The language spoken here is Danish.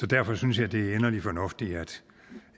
derfor synes jeg det er inderlig fornuftigt